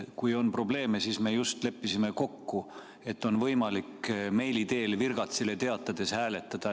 Kui on probleeme, siis me just leppisime kokku, et on võimalik meili teel virgatsile teatades hääletada.